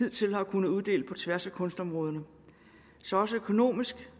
hidtil har kunnet uddele på tværs af kunstområderne så også økonomisk